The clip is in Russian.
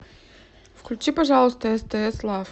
включи пожалуйста стс лав